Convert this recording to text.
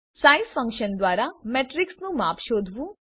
size function દ્વારા મેટ્રીક્સનું માપ શોધવું